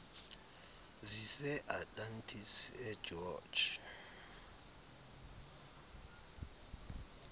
zise atlantis egeorge